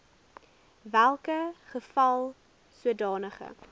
welke geval sodanige